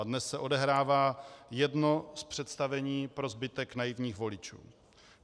A dnes se odehrává jedno z představení pro zbytek naivních voličů.